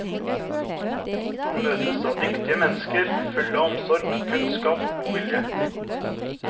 Man møtes av dyktige mennesker, full av omsorg, kunnskap og god vilje.